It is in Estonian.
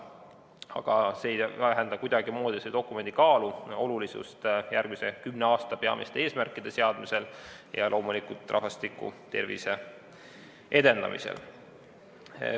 Aga see ei vähenda kuidagimoodi selle dokumendi kaalu ega olulisust järgmise kümne aasta peamiste eesmärkide seadmisel ja loomulikult rahvastiku tervise edendamisel.